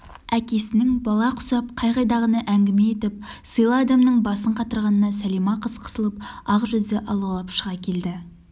әкесінің бала құсап қай-қайдағыны әңгіме етіп сыйлы адамның басын қатырғанына сәлима қыз қысылып ақ жүзі алаулап шыға келді